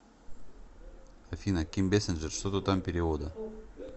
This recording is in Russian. афина ким бэсинджер что то там перевода